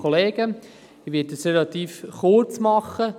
Ich werde es relativ kurz machen.